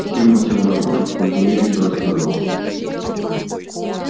германн сел на окошко подле неё и все рассказал